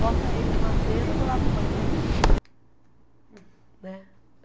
Bota ele numa mesa do lado do banheiro. Né